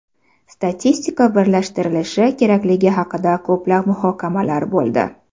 Statistika birlashtirilishi kerakligi haqida ko‘plab muhokamalar bo‘ldi.